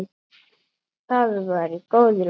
Það var í góðu lagi.